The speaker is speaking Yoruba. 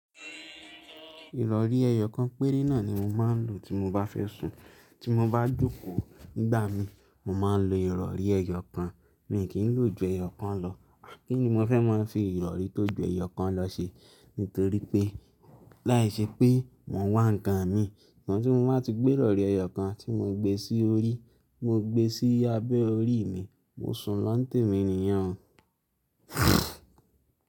Ìrọ̀rí ẹyọ kan péré náà ni mo máa ń lò tí mo bá fẹ́ sùn. Tí mo bá jòkó nígbà mi, mo máa ń lo ìrọ̀rí ẹyọ kan. Mi kì í lò ju ẹyọ kan lọ. Kí ni mo fẹ́ máa fi ìrọ̀rí tó ju ẹyọ kan lọ ṣe? Nítorí pé láìṣẹ́ pé mon wá ń kan mi. Sugbon tí mo bá ti gbé ìrọ̀rí ẹyọ kan tí mo gbé sí orí, mo gbé e sí abẹ́ orí mi, mo sùn láńtè mi nìyẹn o.